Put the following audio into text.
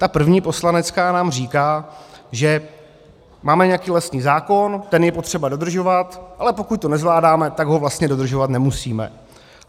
Ta první, poslanecká nám říká, že máme nějaký lesní zákon, ten je potřeba dodržovat, ale pokud to nezvládáme, tak ho vlastně dodržovat nemusíme.